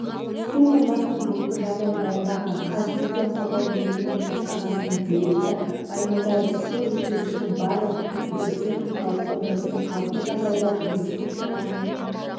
су қоймасының бүгінгі жағдайын баяндаған қазселденқорғау мемлекеттік басқармасының директоры баймолдаев су реттегішінің барлық гидротехникалық қондырғысы қалыпты жағдайда жұмыс істеп тұрғанын